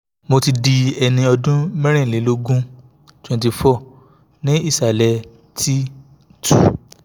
mo ti di ẹni ọdún mẹ́rìnlélógún twenty-four ní ìsàlẹ̀ t two